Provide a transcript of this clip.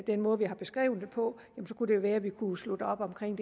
den måde vi har beskrevet det på kunne det være at vi kunne slutte op omkring